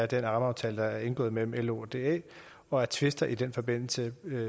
den rammeaftale der er indgået mellem lo og da og at tvister i den forbindelse